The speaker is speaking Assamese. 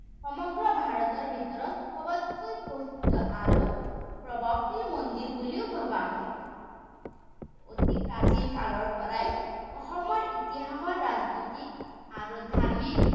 সমগ্ৰ ভাৰতৰ ভিতৰত সবতকৈ প্ৰস্তুত আৰু প্ৰভাৱশীল মন্দিৰ বুলিও ভৱা হয়। অতি প্ৰাচীনকালৰপৰাই অসমৰ ইতিহাসৰ ৰাজনৈতিক আৰু ধাৰ্মিক